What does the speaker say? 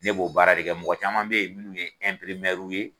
Ne b'o baara de kɛ mɔgɔ caman bɛ yen minnu ye ye